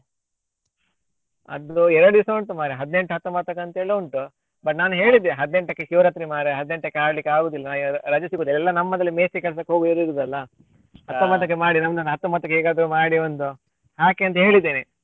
ಅದು ಎರಡು ದಿವ್ಸ ಉಂಟು ಮಾರ್ರೆ ಹದ್ನೆಂಟು ಹತ್ತೊಂಬತ್ತಕ್ಕೆ ಅಂತೇಳಿ ಉಂಟು but ನಾನು ಹೇಳಿದೆ ಹದ್ನೆಂಟಕ್ಕೆ ಶಿವರಾತ್ರಿ ಮಾರ್ರೆ ಹದ್ನೆಂಟಕ್ಕೆ ಆಡ್ಲಿಕ್ಕೆ ಆಗುದಿಲ್ಲ ರಜೆ ಸಿಗುದಿಲ್ಲ ಎಲ್ಲ ನಮ್ಮದ್ರಲ್ಲಿ ಮೇಸ್ತ್ರಿ ಕೆಲ್ಸಕ್ಕೆ ಹೋಗುವವರು ಇರುದಲ್ಲ ಹತ್ತೊಂಬತ್ತಕ್ಕೆ ಮಾಡಿ ನಮ್ದೊಂದು ಹತ್ತೊಂಬತ್ತಕ್ಕೆ ಹೇಗಾದ್ರು ಮಾಡಿ ಒಂದು ಹಾಕಿ ಅಂತ ಹೇಳಿದ್ದೇನೆ.